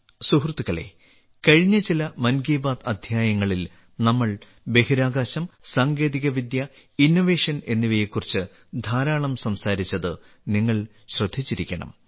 സുഹൃത്തുക്കളേ കഴിഞ്ഞ ചില മൻ കി ബാത്ത് അദ്ധ്യായങ്ങളിൽ നമ്മൾ ബഹിരാകാശം സാങ്കേതികവിദ്യ ഇന്നൊവേഷൻ എന്നിവയെക്കുറിച്ച് ധാരാളം സംസാരിച്ചത് നിങ്ങൾ ശ്രദ്ധിച്ചിരിക്കണം